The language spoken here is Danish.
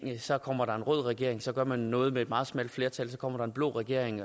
så kommer der en rød regering og så gør man noget med et meget smalt flertal og så kommer der en blå regering